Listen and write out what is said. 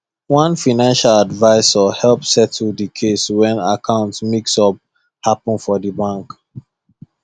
one financial advisor help settle the case when account mix up happen for the bank